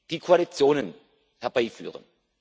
die Koalitionen herbeiführen.